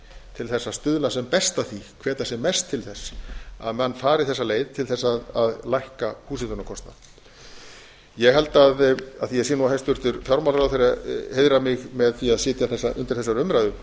til þess að stuðla sem best að því hvetja sem mest til þess að menn fari þessa leið til þess að lækka húshitunarkostnaðinn ég held af því ég sé nú að hæstvirtur fjármálaráðherra heiðrar mig með því að sitja undir þessari umræðu